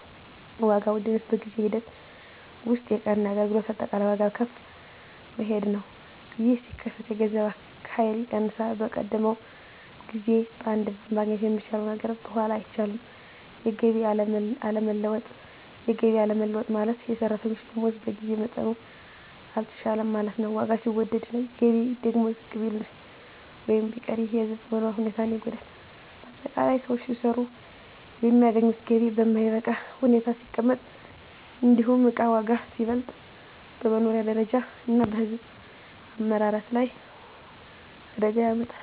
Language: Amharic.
1. ዋጋ ውድነት በጊዜ ሂደት ውስጥ የእቃና አገልግሎት አጠቃላይ ዋጋ ከፍ መሄዱ ነው። ይህ ሲከሰት የገንዘብ ኃይል ይቀንሳል፤ በቀደመው ጊዜ በአንድ ብር ማግኘት የሚቻለው ነገር በኋላ አይቻልም። 2. የገቢ አለመለወጥ የገቢ አለመለወጥ ማለት፣ የሰራተኞች ደመወዝ በጊዜ መጠኑ አልተሻሻለም ማለት ነው። ዋጋ ሲወደድ ገቢ ደግሞ ዝቅ ቢል ወይም ቢቀር ይህ የሕዝብ መኖሪያ ሁኔታን ይጎዳል። ✅ በአጠቃላይ: ሰዎች ሲሰሩ የሚያገኙት ገቢ በማይበቃ ሁኔታ ሲቀመጥ፣ እንዲሁም እቃ ዋጋ ሲበልጥ፣ በመኖሪያ ደረጃ እና በሕዝብ አመራረት ላይ አደጋ ያመጣል።